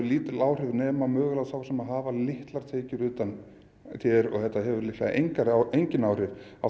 lítil áhrif nema á mögulega þá sem hafa litlar tekjur utan t r og þetta hefur líklega engin engin áhrif á